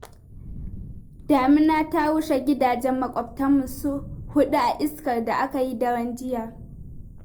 Damina ta rushe gidajen maƙwabtanmu su huɗu a iskar da aka yi daren jiya